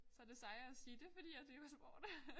Så det sejere at sige det fordi jeg dyrker sport